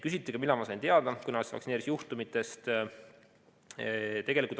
Küsiti ka seda, millal ma sain teada kõnealustest vaktsineerimisjuhtumitest.